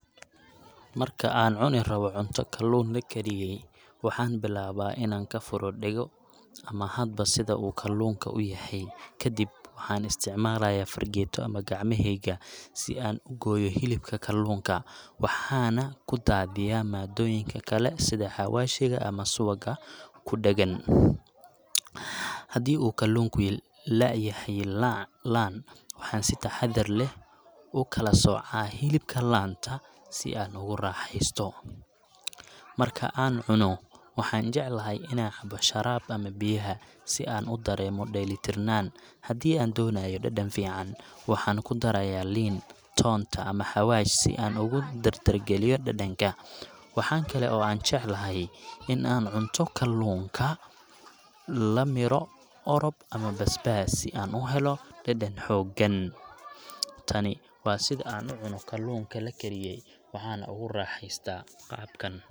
Marka aan cuni rabo ,cunta kalluun la kariyey, waxaan bilaabaa inaan ka furo dhego ama hadba sida uu kalluunka u yahay. Kadib, waxaan isticmaalayaa fargeeto ama gacmahayga si aan u gooyo hilibka kalluunka, waxaana ku daadiyaa maaddooyinka kale sida xawaashiga ama subagga ku dheggan. Haddii uu kalluunku laayahay laan, waxaan si taxadar leh u kala soocaa hilibka laanta si aan ugu raaxaysto. Marka aan cunno, waxaan jeclahay inaan cabo sharaab ama biyaha, si aan ugu dareemo dheelitirnaan. Haddii aan doonayo dhadhan fiican, waxaan kudarayaa liin, toonta, ama xawaash si aan ugu dardargeliyo dhadhanka. Waxaa kale oo aan jecelahay in aan cunto kalluunka la midho orob ama basbaas si aan u helo dhadhan xooggan. Tani waa sida aan u cunno kalluunka la kariyey, waxaana ugu raaxaystaa qaabkan.